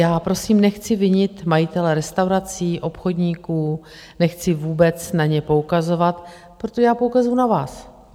Já prosím nechci vinit majitele restaurací, obchodníků, nechci vůbec na ně poukazovat, protože já poukazuji na vás.